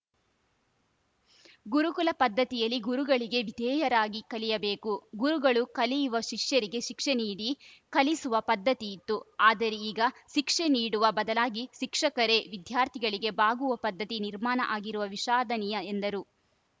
ಗುರುಕುಲ ಪದ್ಧತಿಯಲ್ಲಿ ಗುರುಗಳಿಗೆ ವಿಧೇಯರಾಗಿ ಕಲಿಯಬೇಕು ಗುರುಗಳು ಕಲಿಯುವ ಶಿಷ್ಯರಿಗೆ ಶಿಕ್ಷೆ ನೀಡಿ ಕಲಿಸುವ ಪದ್ಧತಿ ಇತ್ತು ಆದರೆ ಈಗ ಶಿಕ್ಷೆ ನೀಡುವ ಬದಲಾಗಿ ಶಿಕ್ಷಕರೇ ವಿದ್ಯಾರ್ಥಿಗಳಿಗೆ ಬಾಗುವ ಪದ್ಧತಿ ನಿರ್ಮಾಣ ಆಗಿರುವ ವಿಷಾದನೀಯ ಎಂದರು